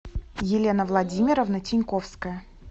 елена владимировна тиньковская